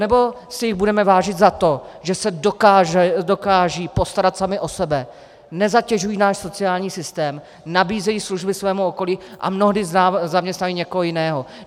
Anebo si jich budeme vážit za to, že se dokážou postarat sami o sebe, nezatěžují náš sociální systém, nabízejí služby svému okolí a mnohdy zaměstnávají někoho jiného.